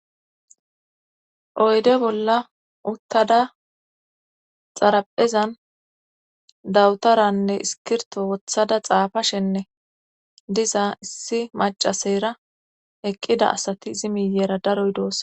oyde bolla uttada xaraphezan dawutaranne iskirto wothada xaafashenne diza issi macaseyra eqqida asati izi miyeera daroy doosa